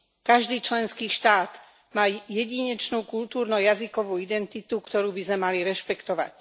Každý členský štát má jedinečnú kultúrno jazykovú identitu, ktorú by sme mali rešpektovať.